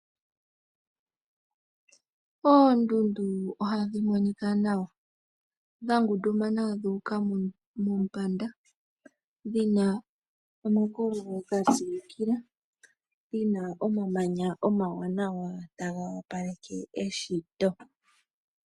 Oondundu oha dhi mo ika nawa, dha ngundumana dhu uka mombanda, dhina omakololo ga silukila, dhina omamanya omawanawa ta ga wapeleke eshito.